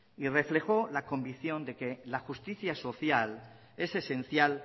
y reflejó la convicción de que la justicia social es esencial